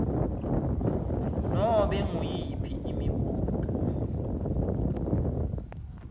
nobe nguyiphi imibuto